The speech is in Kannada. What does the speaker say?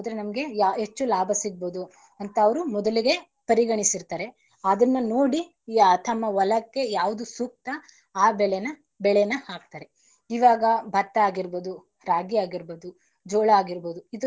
ಅವರು ಮೊದಲಿಗೆ ಪರಿಗಣಿಸಿರ್ತಾರೆ ಅದನ್ನ ನೋಡಿ ತಮ್ಮ ಹೊಲಕ್ಕೆ ಯಾವದು ಸೂಕ್ತ ಆ ಬೆಳೆನ~ ಬೆಳನ ಹಾಕ್ತಾರೆ. ಇವಾಗ ಭತ್ತ ಆಗಿರ್ಬೋದು, ರಾಗಿ ಆಗಿರ್ಬೋದು , ಜೋಳ ಆಗಿರ್ಬೋದು.